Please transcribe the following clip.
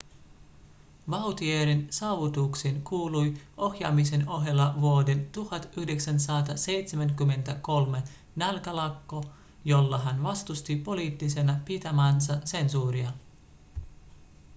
vautier'n saavutuksiin kuului ohjaamisen ohella vuoden 1973 nälkälakko jolla hän vastusti poliittisena pitämäänsä sensuuria